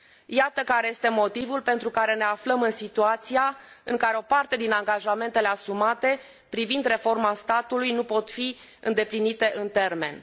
Iată care este motivul pentru care ne aflăm în situația în care o parte din angajamentele asumate privind reforma statului nu pot fi îndeplinite în termen.